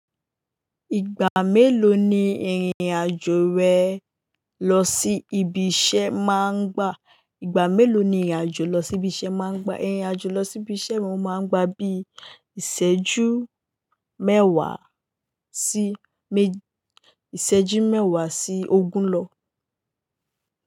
Ìgbà mélòó ni ìrìn-àjò rẹ lọ sí ibi iṣẹ́ máa ń gba? Ìgbà mélòó ni ìrìn-àjò lọ sí ibi iṣẹ́ máa ń gba? Ìrìn-àjò lọ sí ibi iṣẹ́ wọn máa ń gba bí ìṣẹ́jú mẹ́wàá sí ogún lọ.